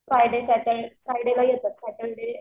Friday फ्रायडेला येतात Saturday